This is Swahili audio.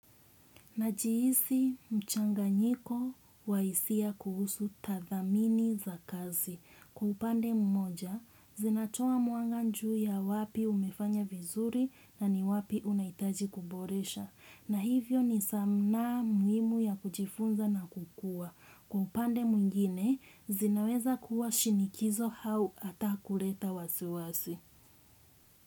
Najihisi mchanganyiko wa hisia kuhusu tadhamini za kazi. Kwa upande mmoja, zinatoa mwanga juu ya wapi umefanya vizuri na ni wapi unaitaji kuboresha. Na hivyo ni zamu muhimu ya kujifunza na kukua. Kwa upande mwingine, zinaweza kuwa shinikizo au ata kuleta wasiwasi.